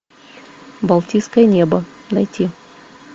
балтийское небо найти